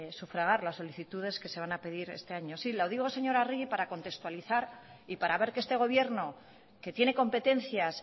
sufragar las solicitudes que se van a pedir este año sí lo digo señora arregi para contextualizar y para ver que este gobierno que tiene competencias